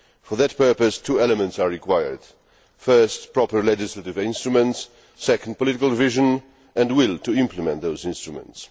For that purpose, two elements are required first, proper legislative instruments and, second, political vision and the will to implement those instruments.